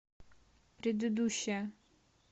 предыдущая